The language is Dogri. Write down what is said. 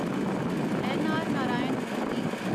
न. आर. नारायण मूर्ति